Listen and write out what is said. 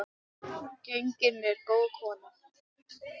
Gengin er góð kona.